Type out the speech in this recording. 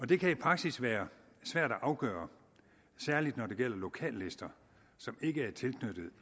det kan i praksis være svært at afgøre særlig når det gælder lokallister som ikke er tilknyttet